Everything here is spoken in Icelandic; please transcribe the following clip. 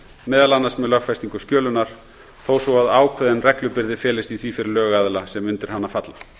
meðal annars með lögfestingu skjölunar þó svo að ákveðin reglubyrði felist í því fyrir lögaðila sem undir hana falla